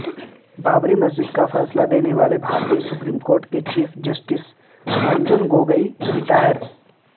بابری مسجد کا فیصلہ دینے والے بھارتی سپریم کورٹ کے chief justice Ranjan Gogoi retire